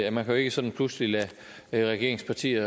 at man jo ikke sådan pludselig kan lade regeringspartier